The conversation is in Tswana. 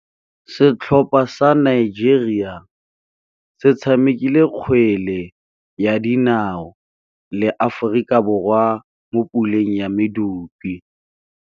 Setlhopha sa Nigeria se tshamekile kgwele ya dinaô le Aforika Borwa mo puleng ya medupe.